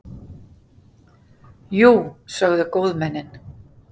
Jú, sögðu góðmennin.